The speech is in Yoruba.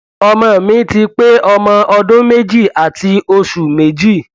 ọmọ mi ti pé ọmọ ọdún méjì àti oṣù méjì